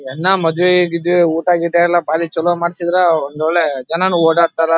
ಎನ್ನ್ ಮದ್ವೆ ಗಿದ್ವೆ ಊಟ ಗೀಟ ಎಲ್ಲಾ ಬಾರಿ ಚಲೋ ಮಾಡ್ಸಿದ್ರ ಒಂದು ಒಳ್ಳೆ ಜನನು ಓಡಾಡತ್ತರ್.